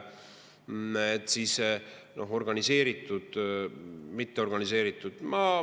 On nad siis organiseeritud või mitteorganiseeritud?